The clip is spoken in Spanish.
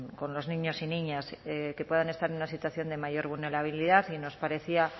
con los niños y niñas que puedan estar en una situación de mayor vulnerabilidad y nos parecía